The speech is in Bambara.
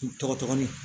N tɔgɔ ni